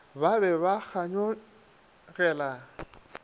ba be ba ba kganyogela